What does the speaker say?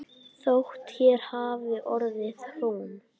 Þótt hér hafi orðið hrun.